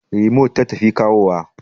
Rimot ta tafi kawowa